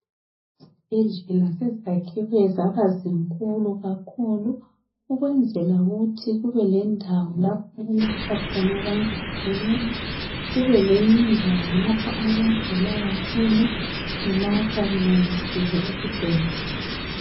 Izibhedlela sezakhiwa zibe zinkulu kakhulu ukwenzela ukuthi kubelendawo lapho okulatshwa khona abantu kubelendawo lapha abagula kakhulu belatshwa belalisiwe esibhedlela.